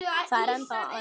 Það er ennþá aumt.